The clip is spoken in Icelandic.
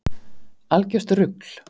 Algjört rugl.